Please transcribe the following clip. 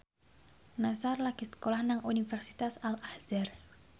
Nassar lagi sekolah nang Universitas Al Azhar